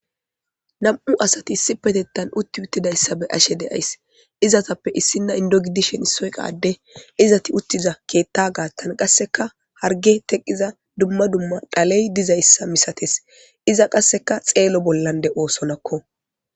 nam7u asati issi petettan utti uttidayssabe ashe deays izatappe issinna indogidishen issoyqade izati uttiza keetta gaattan qasseka harge teqqiza dumma dumma dhaley dizayssa misates iza qasseka xeelo bollande oosonakko